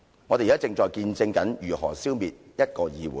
我們現在正見證如何消滅一個議會。